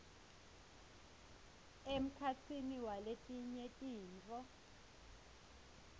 emkhatsini waletinye tintfo